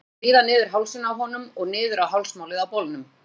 Lætur hann skríða niður hálsinn á honum og niður á hálsmálið á bolnum.